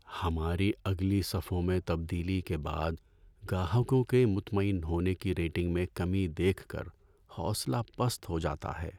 ہماری اگلی صفوں میں تبدیلی کے بعد گاہکوں کے مطمئن ہونے کی ریٹنگ میں کمی دیکھ کر حوصلہ پست ہو جاتا ہے۔